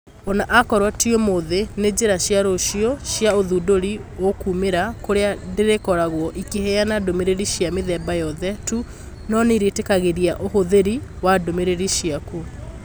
Ona akorwo ti ũmũthĩ, nĩ njĩra cia rũciũ cia ũthũndũri ũkũmĩra kũrĩa ndĩrĩkoragwo ĩkĩheana ndũmĩrĩri cia mithemba yothe tu no nĩrĩitikagĩria ũhũthĩri wa ndũmiriri ciaku